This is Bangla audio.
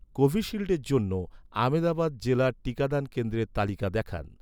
কোভিশিল্ডের জন্য, আমেদাবাদ জেলার টিকাদান কেন্দ্রের তালিকা দেখান